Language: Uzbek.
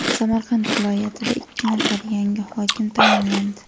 Samarqand viloyatida ikki nafar yangi hokim tayinlandi.